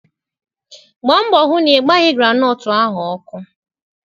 Gbaa mbọ hụ na ị gbaghi granọọtu ahụ ọkụ!